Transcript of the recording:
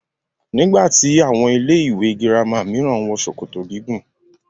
Nígbà tí àwọn ilé ìwé gírámà mìíràn ń wọ ṣòkòtò gígùn.